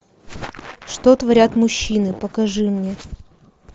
что творят мужчины покажи мне